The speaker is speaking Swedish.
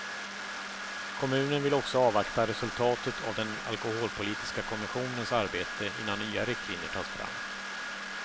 Kommunen vill också avvakta resultatet av den alkoholpolitiska kommissionens arbete innan nya riktlinjer tas fram.